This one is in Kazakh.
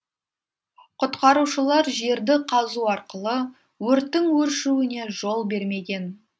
құтқарушылар жерді қазу арқылы өрттің өршуіне жол бермеген